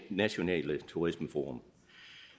nationale turismeforum